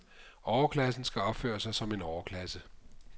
Overklassen skal opføre sig som overklasse.